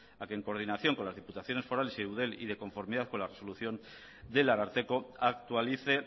a que en coordinación con las diputaciones forales y eudel y de conformidad con la resolución del ararteko actualice